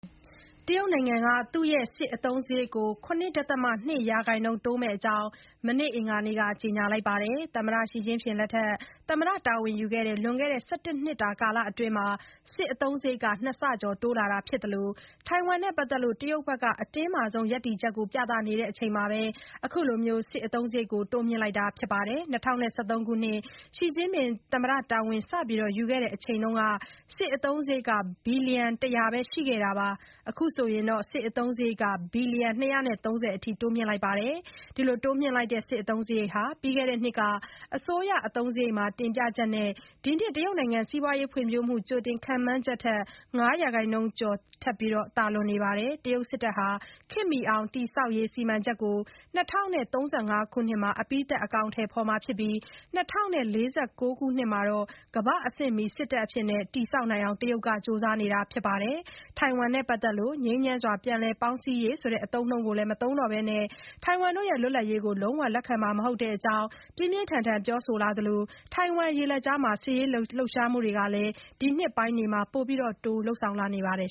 တရုတ်နိုင်ငံက သူ့ရဲ့ စစ်အသုံးစရိတ်ကို ၇ ဒသမ ၂ ရာခိုင်နှုန်း တိုးမဲ့အကြောင်း မနေ့ အင်္ဂါနေ့မှာ ကြေညာပါတယ်။ သမ္မတ Xi Jinping သမ္မတတာဝန် ယူခဲ့တဲ့ လွန်ခဲ့တဲ့ ၁၁ နှစ်တာအတွင်း စစ်အသုံးစရိတ် နှစ်ဆကျော် တိုးလာတာဖြစ်သလို ထိုင်ဝမ်နဲ့ ပတ်သက်လို့ တရုတ်ဘက်က အတင်းမာဆုံး ရပ်တည်ချက်ကို ပြသနေချိန် အခုလို စစ်အသုံးစရိတ် တိုးမြှင့်လိုက်တာပါ။ ၂၀၁၃ ခုနှစ် Xi Jinping သမ္မတတာဝန် စယူခဲ့တဲ့အချိန်မှာ စစ်အသုံးစရိတ် ဘီလျံ ၁၀၀ ပဲ ရှိခဲ့ပြီး အခု ဘီလျံ ၂၃၀ အထိ ရောက်လာတာပါ။ တိုးမြှင့်လိုက်တဲ့ စစ်အသုံးစရိတ်ဟာ ပြီးခဲ့တဲ့နှစ်က အစိုးရ အသုံးစရိတ်မှာ တင်ပြချက်နဲ့ ဒီနှစ် တရုတ်နိုင်ငံ စီးပွားရေး ဖွံဖြိုးမှု ကြိုတင်ခန့်မှန်းချက် ၅ ရာခိုင်နှုန်းကျော်ထက် သာလွန်နေပါတယ်။ တရုတ်စစ်တပ်ဟာ ခေတ်မီအောင်တည်ဆောက်ရေး စီမံချက်ကို ၂၀၃၅ ခုနှစ်မှာ အပြီးသတ် အကောင်အထည်ဖေါ်ပြီး ၂၀၄၉ ခုနှစ်မှာ ကမ္ဘာ့အဆင့်မီ စစ်တပ်အဖြစ် တည်ဆောက်နိုင်ဖို့ ကြိုးစားနေပါတယ်။ ထိုင်ဝမ်နဲ့ ပတ်သက်လို့ ငြိမ်းချမ်းစွာ ပြန်လည်ပေါင်းစည်းရေးဆိုတဲ့ အသုံးအနှုန်းကို မသုံးတော့ဘဲ ထိုင်ဝမ် လွတ်လပ်ရေးကို လုံးဝလက်ခံမှာ မဟုတ်တဲ့အကြောင်း ပြင်းပြင်းထန်ထန် ပြောဆိုလာသလို ထိုင်ဝမ်ရေလက်ကြားမှာ စစ်ရေးလှုပ်ရှားမှုတွေလည်း ဒီနှစ်ပိုင်းတွေမှာ တိုးပြီး လုပ်ဆောင်လာနေပါတယ်